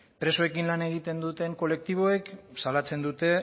presoekin lan egiten duten kolektiboek salatzen dute